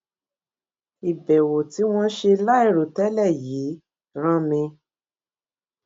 ìbèwò tí wón ṣe láìròtélè yìí rán mi